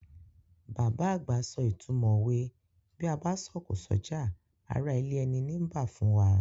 Bàbá àgbà so ìtumọ̀ òwe "Bí a bá sọ̀kò s'ọ́jà, ará ilé ẹni nii bá" fún wa.